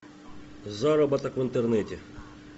заработок в интернете